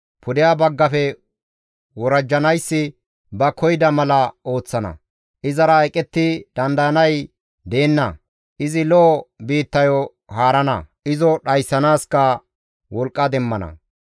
Pude baggafe worajjanayssi ba koyida mala ooththana; izara eqetti dandayanay deenna; izi lo7o biittayo haarana; izo dhayssanaaska wolqqa demmana.